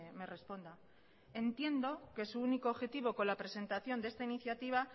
me responda entiendo que su único objetivo con la presentación de esta iniciativa